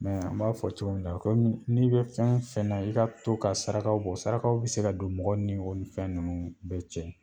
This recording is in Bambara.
an b'a fɔ cogo min na komi n'i bɛ fɛn fɛn na, i ka to ka sarakaw bɔ sarakakaw bi se ka don mɔgɔw ni o fɛn ninnu bɛ cɛ